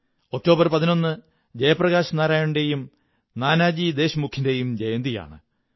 11 October Jayaprakash നാരായണന്റെയും നാനാജി ദേശ്മുഖിന്റെയും ജയന്തിയാണ്